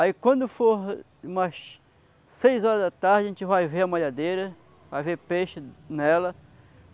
Aí quando for umas seis horas da tarde, a gente vai ver a malhadeira, vai ver peixe nela.